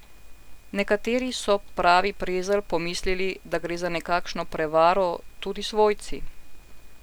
Nekateri, so, pravi Prezelj, pomislili, da gre za nekakšno prevaro, tudi svojci.